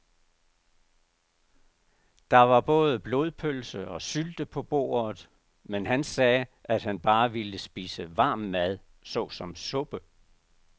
Der var både blodpølse og sylte på bordet, men han sagde, at han bare ville spise varm mad såsom suppe.